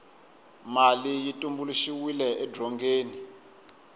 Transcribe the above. mali yi tumbuluxiwe edzongeni